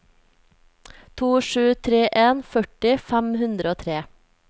to sju tre en førti fem hundre og tre